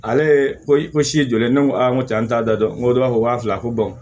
Ale ye ko i ko si ye joli ne ko aa n ko cɛ an t'a da dɔn o de b'a fɔ waa fila ko